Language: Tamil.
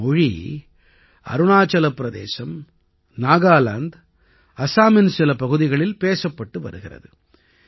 இந்த மொழி அருணாச்சல பிரதேசம் நாகாலாந்த் அஸாமின் சில பகுதிகளில் பேசப்பட்டு வருகிறது